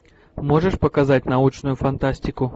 можешь показать научную фантастику